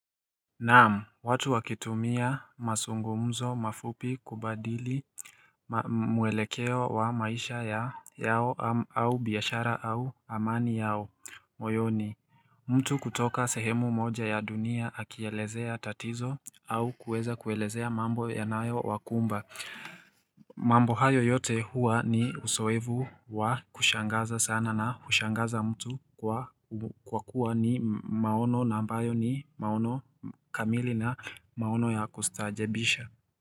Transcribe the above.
Naam watu wakitumia mazungumzo mafupi kubadili mwelekeo wa maisha yao au biashara au amani yao moyoni mtu kutoka sehemu moja ya dunia akielezea tatizo au kuweza kuelezea mambo yanayo wakumba mambo hayo yote huwa ni uzoevu wa kushangaza sana na hushangaza mtu kwa kuwa ni maono na ambayo ni maono kamili na maono ya kustaajebisha.